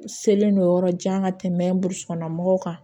Selen don yɔrɔ jan ka tɛmɛ burusi kɔnɔna mɔgɔw kan